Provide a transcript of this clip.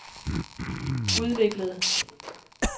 udviklede